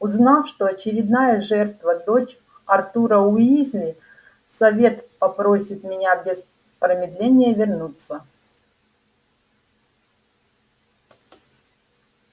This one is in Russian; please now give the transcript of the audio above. узнав что очередная жертва дочь артура уизли совет попросит меня без промедления вернуться